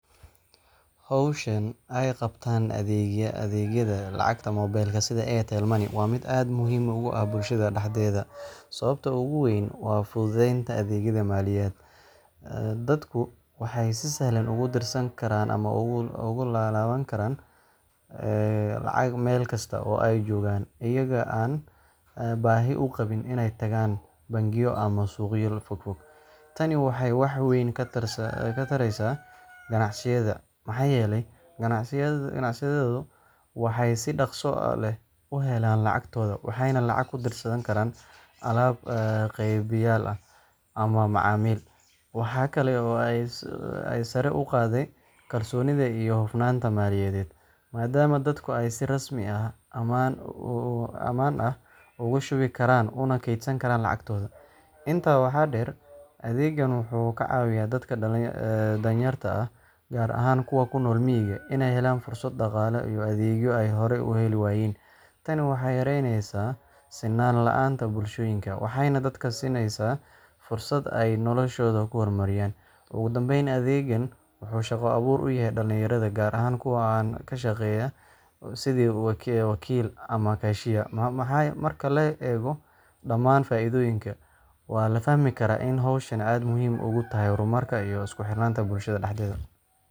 Hawshan ay qabtaan adeegyada lacagaha mobile-ka sida Airtel Money waa mid aad muhiim ugu ah bulshada dhexdeeda. Sababta ugu weyn waa fududeynta adeegyada maaliyadeed. Dadku waxay si sahlan ugu dirsan karaan ama uga laaban karaan lacag meel kasta oo ay joogaan, iyagoo aan baahi u qabin inay tagaan bangiyo ama suuqyo fogfog. Tani waxay wax weyn ka taraysaa ganacsiga, maxaa yeelay ganacsatadu waxay si dhakhso leh u helaan lacagtooda, waxayna lacag ku dirsan karaan alaab-qeybiyeyaal ama macaamiil. Waxa kale oo ay sare u qaadday kalsoonida iyo hufnaanta maaliyadeed, maadaama dadku ay si rasmi ah oo ammaan ah ugu shubi karaan una kaydsan karaan lacagtooda. Intaa waxaa dheer, adeeggan wuxuu ka caawiyaa dadka danyarta ah, gaar ahaan kuwa ku nool miyiga, inay helaan fursado dhaqaale iyo adeegyo ay horay u heli waayeen. Tani waxay yareynaysaa sinnaan la’aanta bulshooyinka, waxayna dadka siinaysaa fursad ay noloshooda ku horumariyaan. Ugu dambeyn, adeeggan wuxuu shaqo abuur u yahay dhalinyarada, gaar ahaan kuwa ka shaqeeya sidii wakiillo ama cashiers. Marka la eego dhammaan faa’iidooyinkaas, waa la fahmi karaa in hawshani aad muhiim ugu tahay horumarka iyo isku xirnaanta bulshada dhexdeeda.